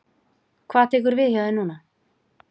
Hvað tekur við hjá þér núna?